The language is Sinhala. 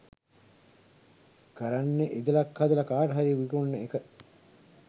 කරන්නෙ ඉදලක් හදල කාටහරි විකුණන එක